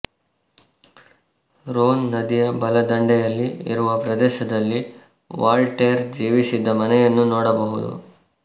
Rhone ನದಿಯ ಬಲದಂಡೆಯಲ್ಲಿ ಇರುವ ಪ್ರದೇಶದಲ್ಲಿ ವಾಲ್ಟೇರ್ ಜೀವಿಸಿದ್ದ ಮನೆಯನ್ನು ನೋಡಬಹುದು